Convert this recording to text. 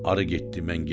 Arı getdi, mən getdim.